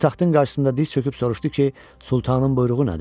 O taxtın qarşısında diz çöküb soruşdu ki, Sultanın buyruğu nədir?